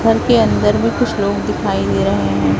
घर के अंदर भी कुछ लोग दिखाई दे रहे हैं।